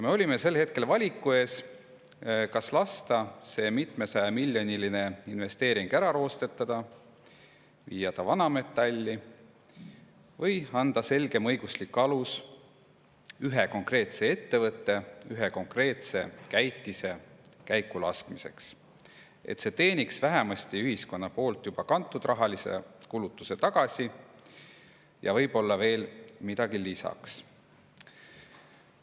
Me olime sel hetkel valiku ees, kas lasta sel mitmesaja miljonilisel investeeringul ära roostetada, viia see vanametalli või anda selge õiguslik alus ühe konkreetse ettevõtte, ühe konkreetse käitise käikulaskmiseks, et see teeniks vähemasti ühiskonna juba kantud rahalise kulutuse tagasi ja võib-olla veel midagi lisaks.